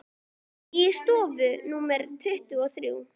Í stofu númer tuttugu og þrjú.